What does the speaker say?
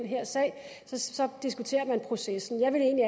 her sag diskuterer processen jeg vil egentlig